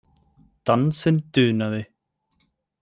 Dansinn dunaði.